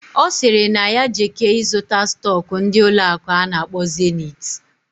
Osiri na ya jeke ịzụta stock ndi ụlọ akụ ana akpo Zenith.